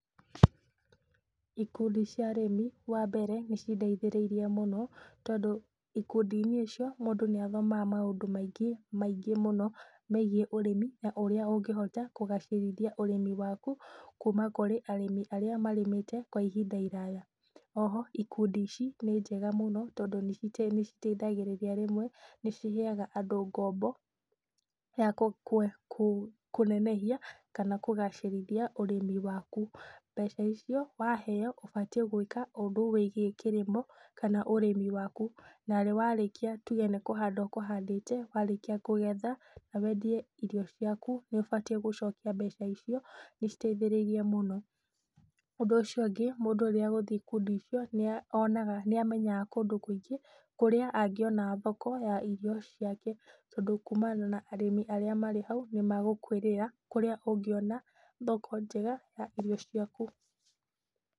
Ikundi cia arĩmi wambere, nĩcindeithĩriirĩe mũno, tondũ ikundiinĩ icio mũndũ nĩathomaga maũndũ maingĩ, maingĩ mũno megiĩ ũrĩmi, na ũrĩa ũngĩhota kũgacĩrithia ũrĩmi waku, kuma kũrĩ arĩa marĩmĩte kwa ihinda iraya. Oho ikundi ici nĩ njega mũno, tondũ nĩciteithagĩrĩria rĩmwe ,nĩciheaga andũ ngombo ya kũnenehia kana kũgacĩrithia ũrĩmi waku, mbeca icio waheo ũbatiĩ gwĩka ũndũ wĩgiĩ kĩrĩmo kana ũrĩmi waku. Narĩ warĩkia nĩtuge nĩkũhanda ũkũhandĩte, warĩkia kũgetha na wendie irio ciaku, nĩũbatiĩ gũcokia mbeca icio nĩciteithĩrĩirĩe mũno. Ũndũ ũcio ũngĩ mũndũ rĩrĩa agũthiĩ ikundi-inĩ icio, nĩamenyaga kũndũ kũingĩ kũrĩa angĩona thoko ya irio ciake. Tondũ kumana na arĩmi arĩa marĩ hau, nĩmagũkwĩrĩra kũrĩa ũngĩona thoko njega ya irio ciaku.